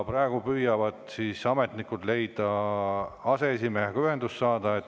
Praegu püüavad ametnikud saada ühendust aseesimehega.